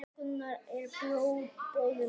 Gunnar, Gunnar er bróðir minn.